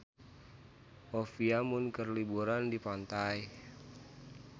Olivia Munn keur liburan di pantai